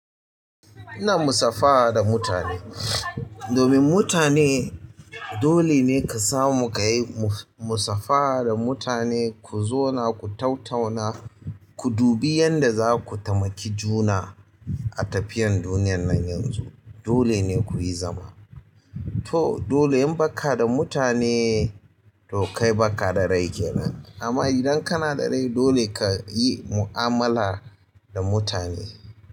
Ina musafaha da mutane. Domin mutane dole ne ka samu ka yi musafaha da mutane, ku zauna, ku tattauna, ku dubi yadda za ku taimaki juna a tafiyar duniyar nan yanzu. Dole ne kuyi zama. To dole in baka da mutane to kai baka da rai kenan. Amma idan kana da rai dole ka yi mu'amala da mutane.